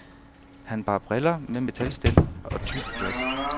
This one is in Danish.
Han bar briller med metalstel og tykke glas.